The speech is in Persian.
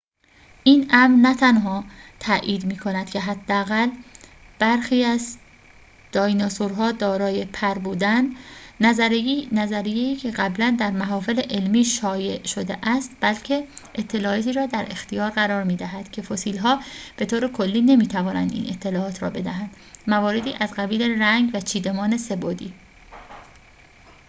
این امر نه تنها تأیید می‌کند که حداقل برخی از دایناسورها دارای پر بودند نظریه‌ای که قبلاً در محافل علمی شایع شده است بلکه اطلاعاتی را در اختیار قرار می‌دهد که فسیل‌ها به طور کلی نمی‌توانند این اطلاعات را بدهند مواردی از قبیل رنگ و چیدمان سه‌بعدی